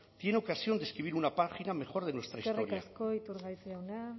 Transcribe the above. tiene ocasión de escribir una página mejor de nuestra historia eskerrik asko iturgaiz jauna